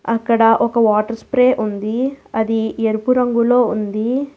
అక్కడ ఒక water spray ఉంది అది ఎరుపు రంగులో ఉంది.